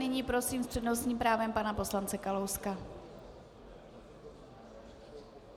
Nyní prosím s přednostním právem pana poslance Kalouska.